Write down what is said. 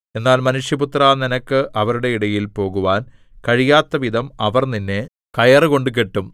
എന്നാൽ മനുഷ്യപുത്രാ നിനക്ക് അവരുടെ ഇടയിൽ പോകുവാൻ കഴിയാത്തവിധം അവർ നിന്നെ കയറുകൊണ്ട് കെട്ടും